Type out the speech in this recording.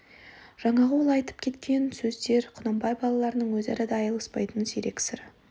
жаңағы ол айтып өткен сөздер құнанбай балаларының өзара да айтыспайтын сирек сыры